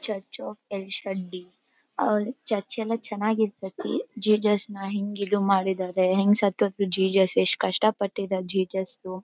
Church church ಎಲ್ಲಾ ಚೆನ್ನಾಗಿರತೈತಿ ಜಿಜುಸ್ನ ಹೆಂಗ್ ಇದು ಮಾಡಿದರೆ ಹೆಂಗ್ ಸತ್ಹ್ ಹೋದ್ರು ಜೇಜುಸ್ ಯೆಸ್ಟ್ ಕಷ್ಟ ಪಟ್ಟಿದಾರೆ ಜಿಜುಸ್ .